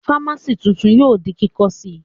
Fámásì tuntun yóò di kíkọ́ sí Ì